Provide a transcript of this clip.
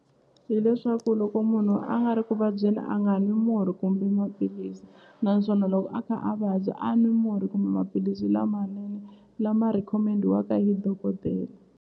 Hi leswaku loko munhu a nga ri ku vabyeni a nga nwi murhi kumbe maphilisi naswona loko a kha a vabya a n'wi murhi kumbe maphilisi lamanene lama rhikhomendiwa hi dokodela.